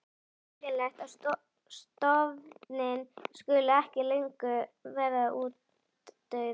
Óskiljanlegt að stofninn skuli ekki löngu vera útdauður.